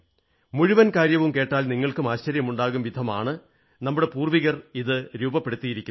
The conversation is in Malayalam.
മുഴുവൻ കാര്യവും കേട്ടാൽ നിങ്ങൾക്കും ആശ്ചര്യമുണ്ടാകും വിധമാണ് നമ്മുടെ പൂർവ്വികർ ഇത് രൂപപ്പെടുത്തിയിരിക്കുന്നത്